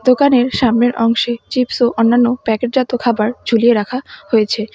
দোকানের সামনের অংশে চিপস ও অন্যান্য প্যাকেরজাত খাবার ঝুলিয়ে রাখা হয়েছে।